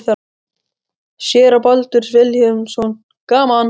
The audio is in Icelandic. Séra Baldur Vilhelmsson: Gaman?